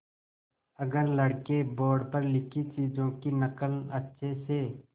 अगर लड़के बोर्ड पर लिखी चीज़ों की नकल अच्छे से